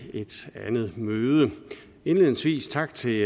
et andet møde indledningsvis tak til